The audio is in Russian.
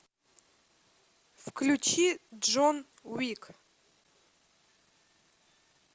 включи джон уик